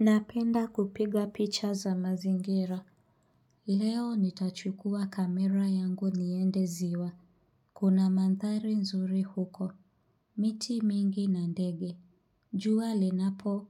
Napenda kupiga picha za mazingira. Leo nitachukua kamera yangu niende ziwa. Kuna mandhari nzuri huko. Miti mingi na ndege. Jua linapo